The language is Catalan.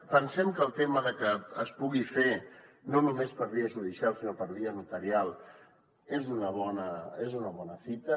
pensem que el tema de que es pugui fer no només per via judicial sinó per via notarial és una bona fita